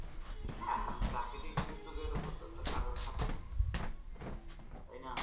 হ্যাঁ প্রাকৃতিক দুর্যোগের উপর তো কারোর হাত নেই তাই না।